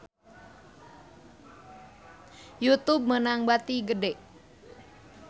Youtube meunang bati gede